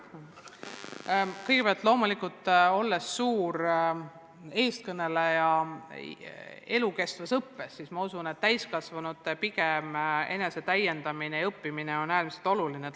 Kõigepealt, loomulikult, olles suur elukestva õppe eestkõneleja, ma usun, et täiskasvanute enesetäiendamine ja õppimine on äärmiselt oluline.